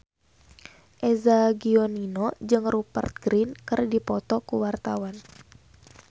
Eza Gionino jeung Rupert Grin keur dipoto ku wartawan